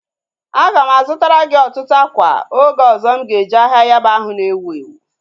A ga m a zụtara gị ọtụtụ ákwà oge ọzọ m ga eje ahịa Yaba ahụ na-ewu ewu